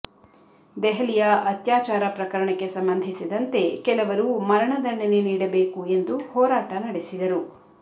ದೆಹಲಿಯ ಅತ್ಯಾಚಾರ ಪ್ರಕರಣಕ್ಕೆ ಸಂಬಂಧಿಸಿದಂತೆ ಕೆಲವರು ಮರಣದಂಡನೆ ನೀಡಬೇಕು ಎಂದು ಹೋರಾಟ ನಡೆಸಿದರು